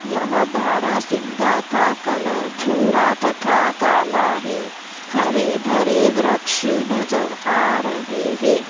यह बारहसिंगा का कलर भूरा तथा काला है। हरे भरे वृक्ष नजर आ रहे हैं।